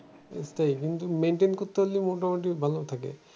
সেটাই কিন্তু maintain করতে পারলেই মোটামুটি ভালো থাকে।